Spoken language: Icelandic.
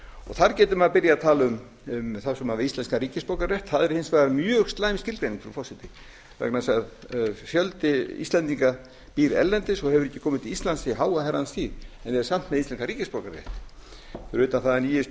þar getur maður byrjað að tala um þá sem hafa íslenskan ríkisborgararétt það er hins vegar mjög slæm skilgreining frú forseti vegna þess að fjöldi íslendinga býr erlendis og hefur ekki komið til íslands í háa herrans tíð en er samt með íslenskan ríkisborgararétt fyrir utan það að nýjasta